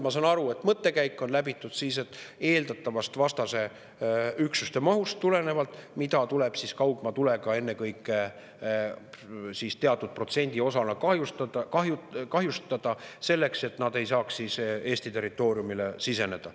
Ma saan aru, et mõttekäik on läbitud tulenevalt vastase üksuste eeldatavast mahust, mida tuleb kaugmaatulega ennekõike teatud protsendiühiku osas kahjustada, selleks et nad ei saaks Eesti territooriumile siseneda.